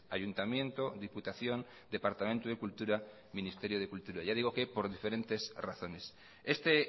ayuntamiento diputación departamento de cultura ministerio de cultura ya le digo que por diferentes razones este